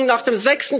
nach der